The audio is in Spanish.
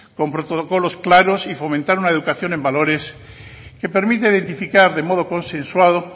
con protocolos claros y fomentar una educación en valores que permite identificar de modo consensuado